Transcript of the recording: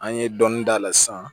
An ye dɔni d'a la san